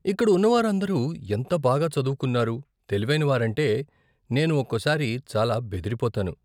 ఇక్కడ ఉన్నవారు అందరూ ఎంత బాగా చదువుకున్నవారు, తెలివైనవారంటే, నేను ఒకోసారి చాలా బెదిరిపోతాను.